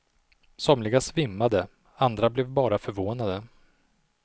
Somliga svimmade, andra blev bara förvånade.